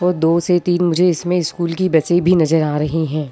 वो दो से तीन मुझे इसमें स्कूल बसें भी नज़र आ रही हैं।